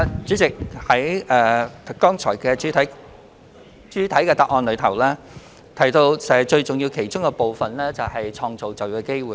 主席，我剛才在主體答覆中提到，紓困措施其中最重要的一環，就是創造就業機會。